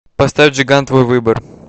поставь джиган твой выбор